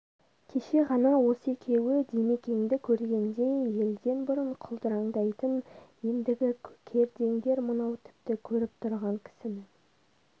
кеше ғана осы екеуі димекеңді көргенде елден бұрын құлдыраңдайтын ендігі кердеңдер мынау тіпті көріп тұрған кісінің